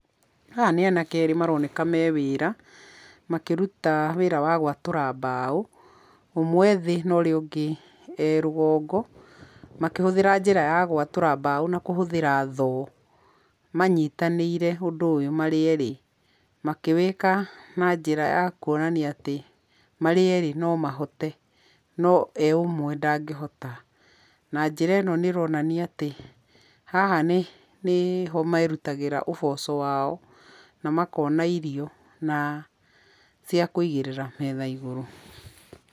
Haha nĩ anake erĩ maroneka mewĩra, makĩruta wĩra wa gwatũra mbao, ũmwe ethĩ ũria ũngĩ erũgongo makĩhuthĩra njĩra ya gwatũra mbao na kũhũthĩra thoo manyitanĩire ũndũ ũyũ marĩ erĩ makĩwĩka na njĩra ya kwonania atĩ marĩ erĩ nomahote no e ũmwe ndangĩhota, na njĩra ĩno nĩronania atĩ haha nĩ nĩ ho merũtagĩra ũboco wao na makona irio na cia kũigĩrĩra metha igũrũ.